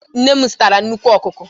Nne m zụtara nnukwu ọkụkọ.